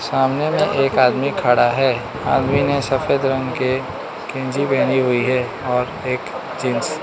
सामने में एक आदमी खड़ा है आदमी ने सफेद रंग के गंजी पहनी हुई है और एक जींस --